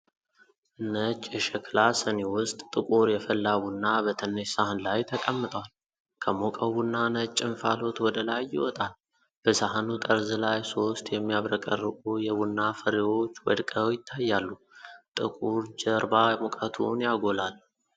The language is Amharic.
ነጭ የሸክላ ስኒ ውስጥ ጥቁር የፈላ ቡና በትንሽ ሳህን ላይ ተቀምጧል። ከሞቀው ቡና ነጭ እንፋሎት ወደ ላይ ይወጣል። በሳህኑ ጠርዝ ላይ ሶስት የሚያብረቀርቁ የቡና ፍሬዎች ወድቀው ይታያሉ። ጥቁር ጀርባ ሙቀቱን ያጎላል።